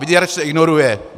Vyděrač se ignoruje.